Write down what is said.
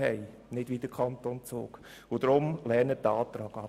Lehnen Sie diesen Antrag deshalb bitte ab.